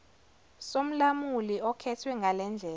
somlamuli okhethwe ngalendlela